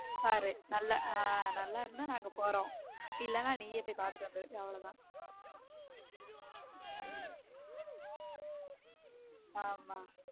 பாரு நல்லா நல்லா இருந்தா நாங்க போறோம் இல்லன்னா நீயே போய் பாத்துட்டு வந்துரு அவ்வளவுதான் ஆமா